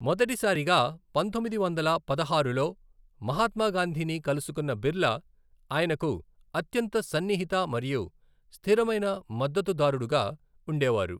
మొదటిసారిగా పంతొమ్మిది వందల పదహారులో మహాత్మాగాంధీని కలుసుకున్న బిర్లా ఆయనకు అత్యంత సన్నిహిత మరియు స్థిరమైన మద్దతుదారుడుగా ఉండేవారు.